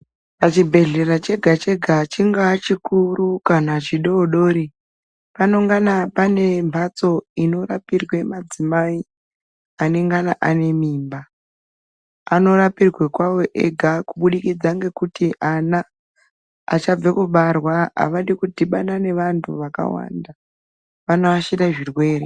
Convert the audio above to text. Pachibhedhlera chega-chega chingaa chikuru kana chododori. Panongana pane mwatso dzinorapirwe madzimai anengana ane mimba. Anorapirwe kwavo ega kubudikidza ngekuti ana achabve kubarwa havadi kudhibana nevantu vakawanda, vanoashire zvirwere.